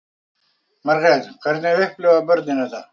Margrét: Hvernig upplifa börnin þetta?